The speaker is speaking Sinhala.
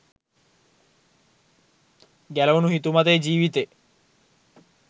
ගැලවුණු 'හිතුමතේ ජීවිතේ'